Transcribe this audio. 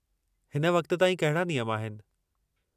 हिन वक़्त ताईं कहिड़ा नियम आहिनि।